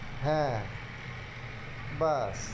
হ্যাঁ বাহ